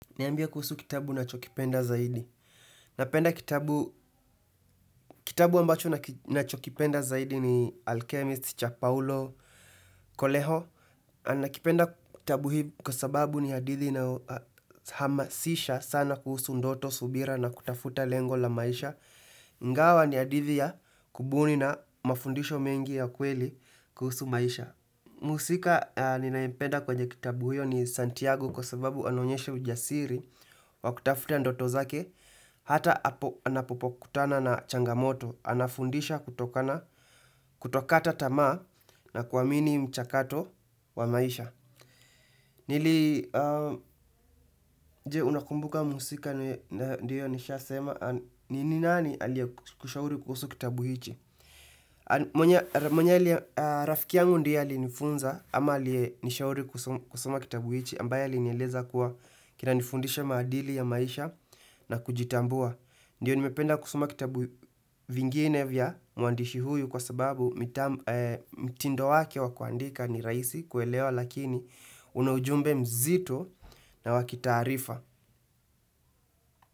Niambie kuhusu kitabu unachokipenda zaidi. Napenda kitabu ambacho ninachokipenda zaidi ni Alchemist cha Paulo Kolejo. Nakipenda kitabu hii kwa sababu ni hadithi inayohamasisha sana kuhusu ndoto, subira na kutafuta lengo la maisha. Ingawa ni hadithi ya kubuni na mafundisho mengi ya kweli kuhusu maisha. Mhusika ninayempeda kwenye kitabu hiyo ni Santiago kwa sababu anaonyesha ujasiri wa kutafuta ndoto zake hata anapokutana na changamoto, anafundisha kutokata tama na kuamini mchakato wa maisha. Nili, je, unakumbuka mhusika, ndio nishasema, ni nani aliyekushauri kuhusu kitabu hichi? Mwenye rafiki yangu ndiye alinifunza, ama aliyenishauri kusoma kitabu hichi, ambaye alinieleza kuwa kinanifundisha maadili ya maisha na kujitambua. Ndio nimependa kusoma kitabu vingine vya mwandishi huyu kwa sababu mtindo wake wa kuandika ni rahisi kuelewa lakini una ujumbe mzito na wa kitaarifa.